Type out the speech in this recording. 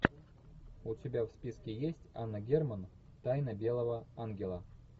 у тебя в списке есть анна герман тайна белого ангела